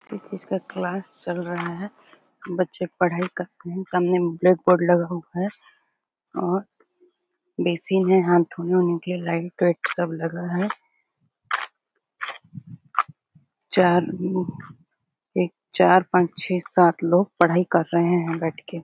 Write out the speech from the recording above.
physics का class चल रहा है सब बच्चे पढाई कर रहे है सामने ब्लैक बोर्ड लगा हुआ है और बेसिन है हाथ धोने के लिए लाइट सब लगा है चार एक चार पांच छेह सात लोग पढाई कर रहें है बैठ के--